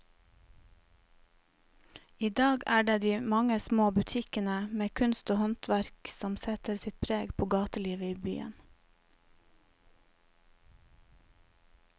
I dag er det de mange små butikkene med kunst og håndverk som setter sitt preg på gatelivet i byen.